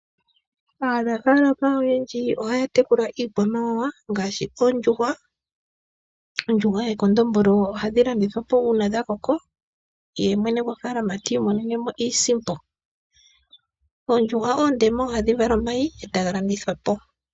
Aanafaalama oyendji ohaya tekula iikwamawawa ngaashi oondjuhwa. Oondjuhwa dhomakondombolo ohadhi landidhwa po uuna dhakoko ye mwene gofaalama ti imonene mo iisimpo. Oondjuhwa oondema ohadhi vala omayi etaga landithwa po.